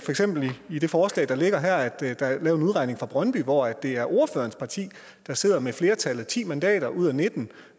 i det forslag der ligger her at der er lavet en udregning fra brøndby hvor det er ordførerens parti der sidder med flertallet ti mandater ud af nitten